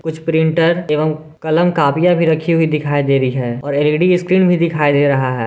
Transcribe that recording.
कुछ प्रिंटर एवं कलम कपिया भी रखी हुई दिखाई दे रही हैं और एल_ई_डी स्क्रीन भी दिखाई दे रहा है।